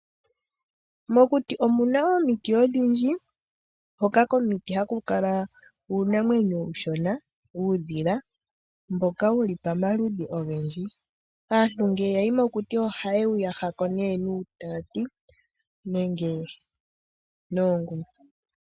Mokuti omu na omiti odhindji hoka komiti haku kala uunamwenyo uushona uudhila mboka wuli pomaludhi ogendji. Aantu ngele ya yi mokuti oha ye wu yaha nuutati nenge noongumi.